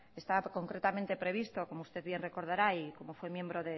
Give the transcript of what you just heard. como usted bien recordará y como fue miembro